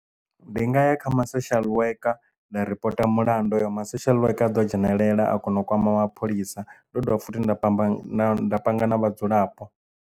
Ndi nga ya kha ma social worker nda ripota mulandu hoyo ma social worker aḓo dzhenelela a kona u kwama mapholisa ndo dovha futhi nda tamba nda panga na vhadzulapo.